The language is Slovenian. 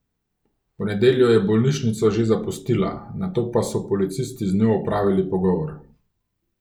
V nedeljo je bolnišnico že zapustila, nato pa so policisti z njo opravili pogovor.